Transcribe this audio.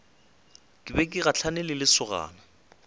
be ke gahlane le lesogana